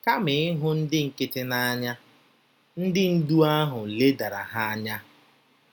Kama ịhụ ndị nkịtị n’anya, ndị ndú ahụ ledara ha anya.